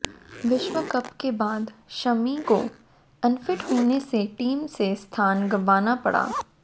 विश्व कप के बाद शमी को अनफिट होने से टीम से स्थान गंवाना पड़ा